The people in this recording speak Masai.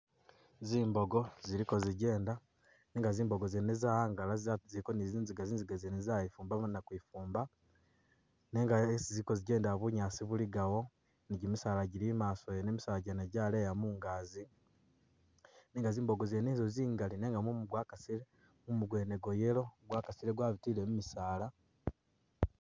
Ziboogo zili gozigenda nenga zibooga zene zawangala za ziliko zinziga, zinziga zene zayifumbamo na kwifumba, nenga esi gozigenda bunyaasi buligawo, gimisaala gili imaaso wene, gimisaala jene jaleya mungazi, nenga zibooga zene zo zingali nenga mumu gwakasile, mumu gwene gwayellow gwakasile gwabitile mubisaala